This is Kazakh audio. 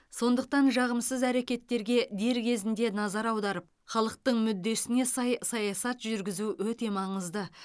сондықтан жағымсыз әрекеттерге дер кезінде назар аударып халықтың мүддесіне сай саясат жүргізу өте маңызды